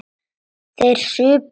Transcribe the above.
Þeir supu á.